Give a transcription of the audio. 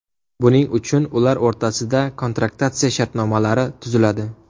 Buning uchun ular o‘rtasida kontraktatsiya shartnomalari tuziladi.